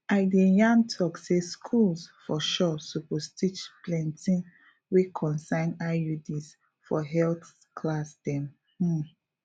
i de yan tok say schools for sure suppose teach plenti wey concern iuds for health class dem um